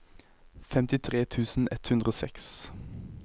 femtitre tusen ett hundre og seks